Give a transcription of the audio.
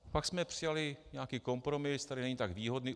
Pak jsme přijali nějaký kompromis, který není tak výhodný.